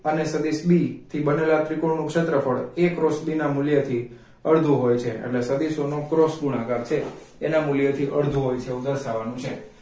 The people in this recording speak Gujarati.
અને સદિશ b થી બનેલા ત્રિકોણનું ક્ષેત્રફળ a cross b ના મૂલ્યથી અડધું હોય છે એટલે સદિશોનો cross ગુણાકાર છે એના મૂલ્ય થી અડધું હોય છે એવું દર્શાવવાનું છે